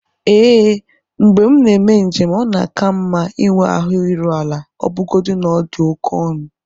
Ee, mgbe m na-eme njem ọ na-ka m mma ịnwe ahụ iru ala ọbụgodi na ọ dị oke ọnụ